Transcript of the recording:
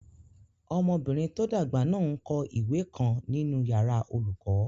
Ọmọbìnrin tó dàgbà náà n kọ ìwé kan nínu yàrá olùkọ́